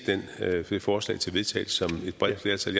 det forslag til vedtagelse som et bredt flertal